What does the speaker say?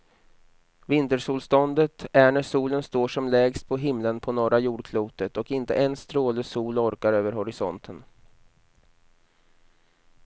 Vintersolståndet är när solen står som lägst på himlen på norra jordklotet och inte en stråle sol orkar över horisonten.